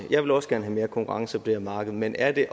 jeg vil også gerne have mere konkurrence på det her marked men er det